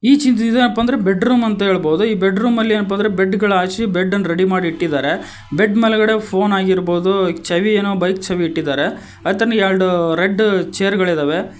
ಈ ಚಿತ್ರ ಏನಪ್ಪಾ ಅಂದ್ರೆ ಬೆಡ್ರೂಮ್ ಅಂತ ಹೇಳ್ಬೋದು ಬೆಡ್ರೂಮಲ್ಲಿ ಏನಪ್ಪಾ ಅಂದ್ರೆ ಬೆಡ್ಗಳ್ನ ಹಾಸಿ ಬೆಡ್ಡನ್ನ ರೆಡಿ ಮಾಡಿ ಇಟ್ಟಿದ್ದಾರೆ ಬೆಡ್ ಮೇಲ್ಗಡೆ ಫೋನ್ ಆಗಿರಬಹುದು ಚಾವಿ ಏನೋ ಬೈಕ್ ಚಾವಿ ಇಟ್ಟಿದ್ದಾರೆ ಅತ್ತ ಎರಡು ರೆಡ್ ಚೇರ್ಗಳಿವೆ.